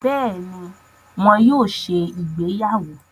Béèni, wón yóò ṣe ìgbéyàwó